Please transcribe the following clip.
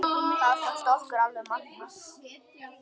Það fannst okkur alveg magnað.